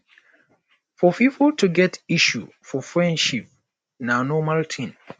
for pipo to get issue for friendship na normal thing